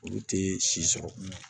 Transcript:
Olu tɛ si sɔrɔ